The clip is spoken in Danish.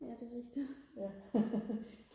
ja det er rigtigt